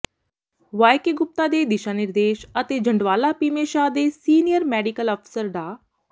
Y K Gupta ਦੇ ਦਿਸ਼ਾ ਨਿਰਦੇਸ਼ ਅਤੇ ਜੰਡਵਾਲਾ ਭੀਮੇਸ਼ਾਹ ਦੇ ਸੀਨੀਅਰ ਮੈਡੀਕਲ ਅਫ਼ਸਰ ਡਾ